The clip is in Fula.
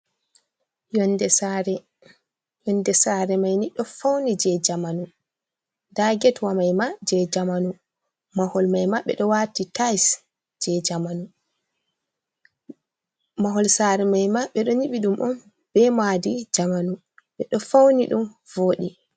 Yonde sare maini do fauni je jamanu, nda get wa maima je jamanu waati tise, mahol sare maima bedo nyiɓi ɗum on be madi jamanu be do fauni ɗum vodi.